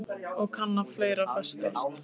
Og kann vera að fleira fréttist.